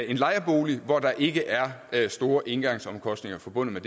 en lejebolig hvor der ikke er store engangsomkostninger forbundet